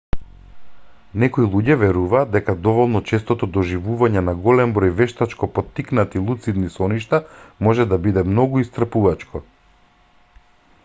некои луѓе веруваат дека доволно честото доживување на голем број вештачко поттикнати луцидни соништа може да биде многу исцрпувачко